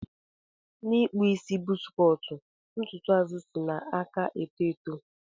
Na ikpụ isi buzz cọt ntụtụ azụ isi nna aka eto eto.